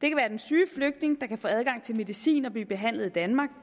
det kan være den syge flygtning der kan få adgang til medicin og blive behandlet i danmark